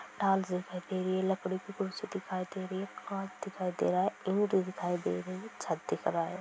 Tolls दिखाई दे रही हैं लकड़ी की कुर्सी दिखाई दे रही हैं काँच दिखाई दे रहा हैं ईंट दिखाई दे रही हैं छत दिख रहा हैं।